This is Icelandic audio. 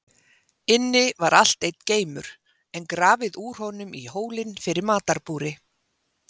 Inni var allt einn geimur, en grafið úr honum í hólinn fyrir matarbúri.